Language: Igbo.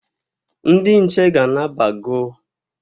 Ndị nche ga-anabago.